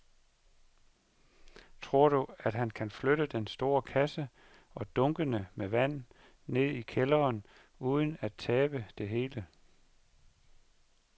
Tror du, at han kan flytte den store kasse og dunkene med vand ned i kælderen uden at tabe det hele?